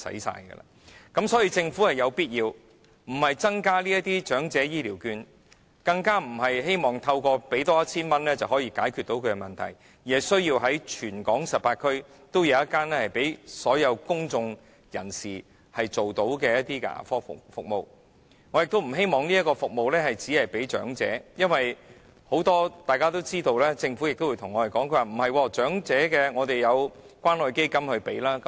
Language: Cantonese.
所以，政府有必要做的，不是增加長者醫療券，更不是希望透過再增加 1,000 元，便可解決他們的問題，而是須在全港18區每區也設置1間可供所有公眾人士使用的牙科診所，我亦不希望這項服務只提供予長者，因為大家也知道，而政府亦會對我們說，長者有關愛基金的資助。